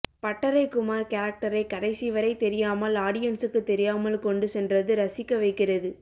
பட்டறை குமார் கேரக்டரை கடைசி வரை தெரியாமல் ஆடியன்சுக்கு தெரியாமல் கொண்டு சென்றது ரசிக்க வைக்கிறது